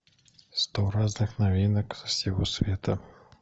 сто разных новинок со всего света